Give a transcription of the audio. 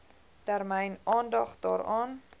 termyn aandag daaraan